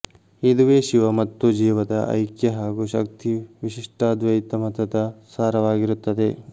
ಇದುವೇ ಶಿವ ಮತ್ತು ಜೀವದ ಐಕ್ಯ ಹಾಗೂ ಶಕ್ತಿ ವಿಶಿಷ್ಟಾದ್ವೈತಮತದ ಸಾರವಾಗಿರುತ್ತದೆ